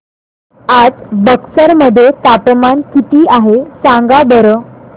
आज बक्सर मध्ये तापमान किती आहे सांगा बरं